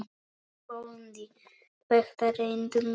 BÓNDI: Þetta reyndum við!